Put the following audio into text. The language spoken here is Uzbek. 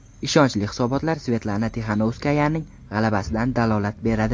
Ishonchli hisobotlar Svetlana Tixanovskayaning g‘alabasidan dalolat beradi.